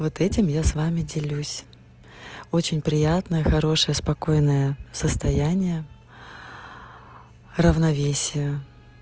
вот этим я с вами делюсь очень приятная хорошая спокойная в состояние равновесия